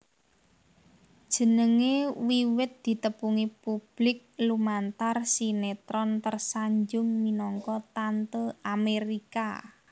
Jenengé wiwit ditepungi publik lumantar sinétron Tersanjung minangka Tante Amérika